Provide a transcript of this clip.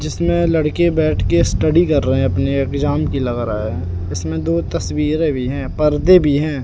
जिसमे लड़के बैठके स्टडी कर रहे हैं अपनी एग्जाम की लग रहा हैं इसमें दो तस्वीरें भी हैं परदे भी हैं।